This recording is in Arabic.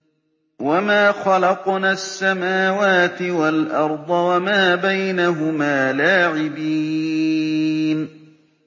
وَمَا خَلَقْنَا السَّمَاوَاتِ وَالْأَرْضَ وَمَا بَيْنَهُمَا لَاعِبِينَ